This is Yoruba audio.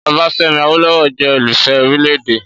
Ọbáfẹ́mi Awólọ́wọ̀ jẹ́ olùfẹ́ orílẹ̀-èdè.